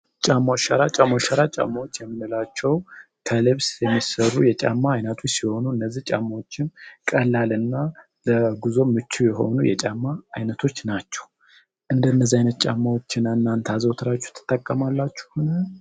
ጫማ ጫሞ ጫማዎች የምንላቸው ከልብ የሚሠሩ የጫማ አይነቱ ሲሆኑ እነዚህ ጫማዎችን ቀላልና ምቹ የሆኑ የጫማ አይነቶች ናቸው